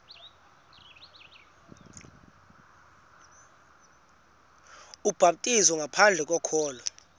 ubhaptizo ngaphandle kokholo